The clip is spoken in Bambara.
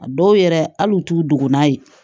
A dɔw yɛrɛ hali u t'u dɔgɔ n'a ye